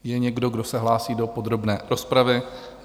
Je někdo, kdo se hlásí do podrobné rozpravy?